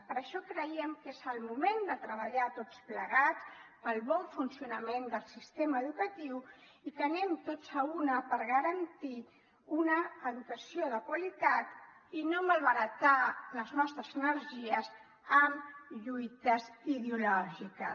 per això creiem que és el moment de treballar tots plegats pel bon funcionament del sistema educatiu i que anem tots a l’una per garantir una educació de qualitat i no malbaratar les nostres energies amb lluites ideològiques